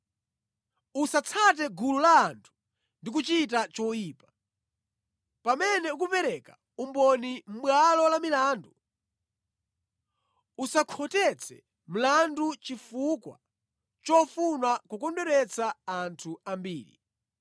“Usatsate gulu la anthu ndi kuchita choyipa. Pamene ukupereka umboni mʼbwalo lamilandu, usakhotetse mlandu chifukwa chofuna kukondweretsa anthu ambiri.